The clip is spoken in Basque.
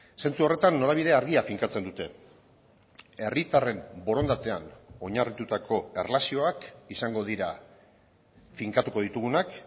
sentsu horretan norabide argia finkatzen dute herritarren borondatean oinarritutako erlazioak izango dira finkatuko ditugunak